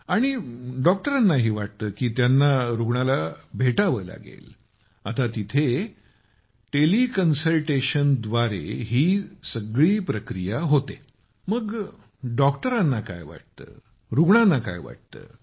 आणि डॉक्टरांनाही वाटतं की त्यांना रुग्णाला भेटावं लागेल आता तिथे संपूर्ण टेलिकॉमकन्सल्टेशनद्वारे होते मग डॉक्टरांना काय वाटते रुग्णाला काय वाटते